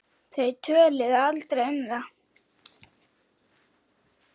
Þau töluðu aldrei um það.